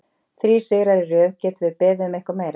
Þrír sigrar í röð, getum við beðið um eitthvað meira?